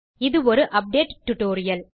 இது ஒரு update tutorial